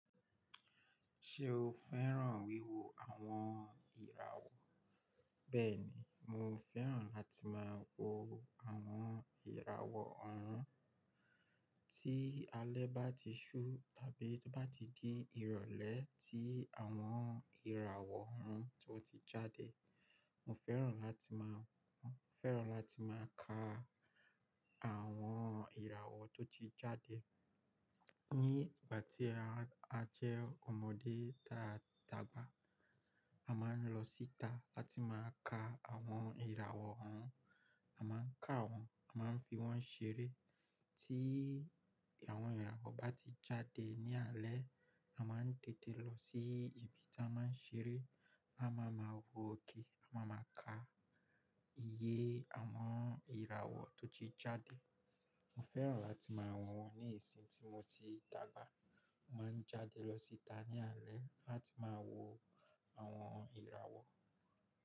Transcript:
Ṣé o fẹ́ràn wíwo àwọn ìràwọ̀? Bẹ́ẹ̀ ni, mo fẹ́ràn láti máa wo àwọn ìràwọ̀ ọ̀rún. Tí alẹ́ bá ti ṣú tàbí bá titi di ìrọ̀lẹ́ tí àwọn ìràwọ̀ ọ̀rún tó ti jáde, mo fẹ́ràn láti máa, fẹ́ràn láti máa ka àwọn ìràwọ̀ tó ti jáde. Ní ìgbà tí a jẹ́ ọmọdé tàdàgba, a máa ń lọ síta láti máa ka àwọn ìràwọ̀ ọ̀rún, a máa ń ka wọn, a máa ń fi wọ́n ṣeré. Tí àwọn ìràwọ̀ bá ti jáde ní alẹ́, a máa ń tètè lọ sí ibi tí a máa ń ṣeré. A máa ma wọ òkè, a máa ma ka iye àwọn ìràwọ̀ tó ti jáde. Mo fẹ́ràn láti máa wọn ní ìsìn tí mo ti dàgbà. Mo máa ń jáde lọ síta ní alẹ́ láti máa wo àwọn ìràwọ̀.